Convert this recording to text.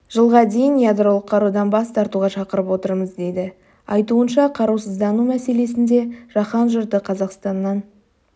жылға дейін ядролық қарудан бас тартуға шақырып отырмыз дейді айтуынша қарусыздану мәселесінде жаһан жұрты қазақстаннан